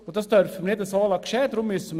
Das dürfen wir nicht geschehen lassen.